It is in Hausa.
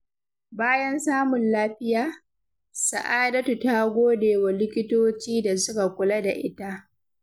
Bayan samun lafiya, Sa’adatu ta gode wa likitoci da suka kula da ita.